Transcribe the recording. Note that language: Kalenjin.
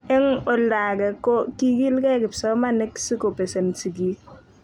eng olda age ko kikilgei kipsomanik si ko pesen sigik